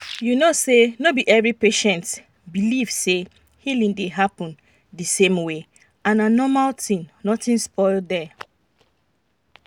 you know say no be every patient believe say healing dey happen the same way and na normal thing nothing spoil there.